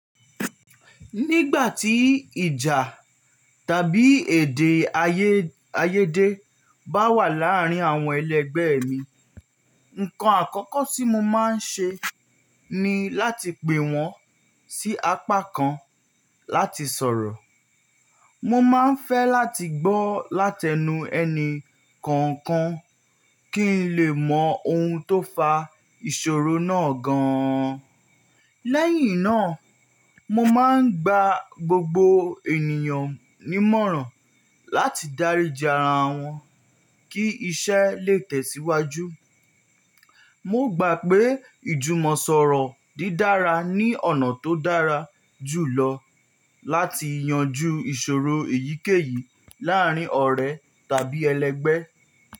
Nígbà tí ìjà tàbí èdè-ayé, ayéde bá wà láàárín àwọn ẹlẹgbẹ́ mi, nǹkan àkọ́kọ́ tí mo máa ń ṣe ní láti pè wọ́n sí apá kan láti sọ̀rọ̀. Mo máa ń fẹ́ láti gbọ́ látenu ẹni kọ̀ọ̀kan kí n lè mọ ohun tó fa ìṣòro náà gan-an. Lẹ́yìn náà, mo máa ń gba gbogbo ènìyàn nímọ̀ràn láti dáríji ara wọn kí iṣẹ́ lè tẹ̀síwájú. Mo gbà pé ìjùmọ̀sọ̀rọ̀ dídára ní ọ̀nà tó dára jùlọ láti yanjú ìṣòro èyíkéyìí láàárín ọ̀rẹ́ tàbí ẹlẹgbẹ́